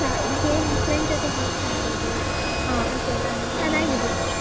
Game friend ಜೊತೆ games ಆಡ್ಬೋದು ಚೆನ್ನಾಗಿರುತ್ತೆ.